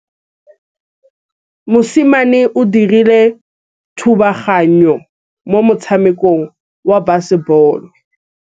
Mosimane o dirile thubaganyô mo motshamekong wa basebôlô.